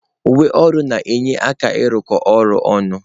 Uwe ọrụ na-enye aka ịrụkọ ọrụ ọnụ.